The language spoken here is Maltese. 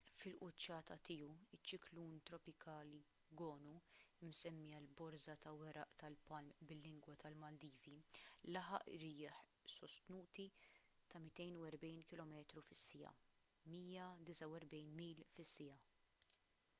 fil-quċċata tiegħu iċ-ċiklun tropikali gonu imsemmi għal borża ta’ weraq tal-palm bil-lingwa tal-maldivi laħaq irjieħ sostnuti ta’ 240 kilometru fis-siegħa 149 mil fis-siegħa